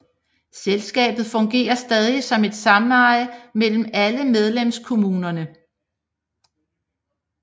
Selskabet fungerer stadig som et sameje mellem alle medlemskommunerne